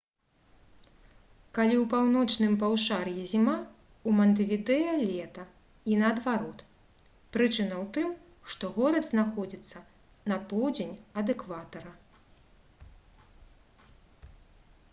калі ў паўночным паўшар'і зіма у мантэвідэа лета і наадварот прычына ў тым што горад знаходзіцца на поўдзень ад экватара